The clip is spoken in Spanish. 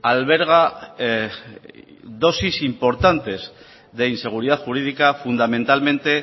alberga dosis importantes de inseguridad jurídica fundamentalmente